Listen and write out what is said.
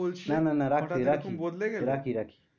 বলছিলে। নানা না রাখি রাখি, রাখি-রাখি,